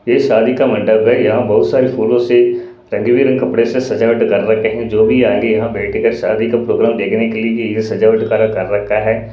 ये शादी का मण्डप है यहां बहुत सारी फुलों से रंग कपड़े से सजावट कर रखें हैं जो भी आगे यहां बैठेगा शादी का प्रोग्राम देखने के लिए कि ये सजावट कर रखा है।